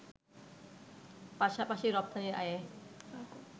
পাশাপাশি রপ্তানি আয়ে